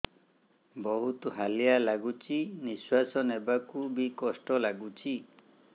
ବହୁତ୍ ହାଲିଆ ଲାଗୁଚି ନିଃଶ୍ବାସ ନେବାକୁ ଵି କଷ୍ଟ ଲାଗୁଚି